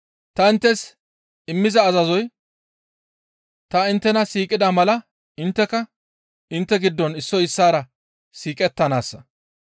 Ta inttes immiza azazoy ta inttena siiqida mala intteka intte giddon issoy issaara siiqettanaassa.